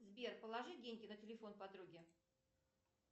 сбер положи деньги на телефон подруге